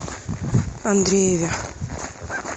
андрееве